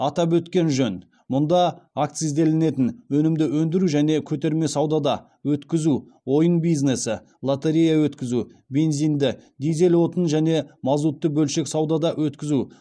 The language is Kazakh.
атап өткен жөн мұнда акцизделінетін өнімді өндіру және көтерме саудада өткізу ойын бизнесі лотерея өткізу бензинді дизель отын және мазутты бөлшек саудада өткізу